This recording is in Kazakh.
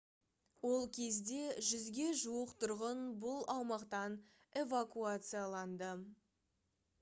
ол кезде 100-ге жуық тұрғын бұл аумақтан эвакуацияланды